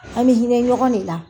An be hinɛ ɲɔgɔn de la.